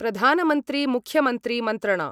प्रधानमन्त्रिमुख्यमन्त्रिमंत्रणा